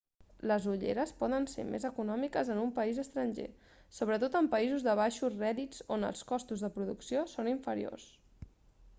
les ulleres poden ser més econòmiques en un país estranger sobretot en països de baixos rèdits on els costos de producció són inferiors